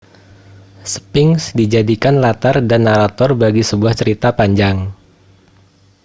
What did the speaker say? sphinx dijadikan latar dan narator bagi sebuah cerita panjang